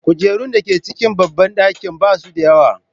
Kujerun da ke cikin babban ɗakin ba su da yawa.